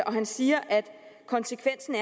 og han siger at konsekvensen